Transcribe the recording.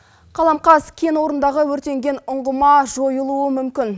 қаламқас кен орнындағы өртенген ұңғыма жойылуы мүмкін